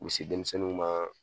U be se denmisɛnninw ma